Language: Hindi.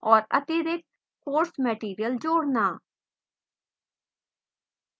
और अतिरिक्त course material जोड़ना